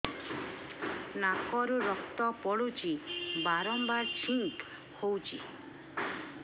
ନାକରୁ ରକ୍ତ ପଡୁଛି ବାରମ୍ବାର ଛିଙ୍କ ହଉଚି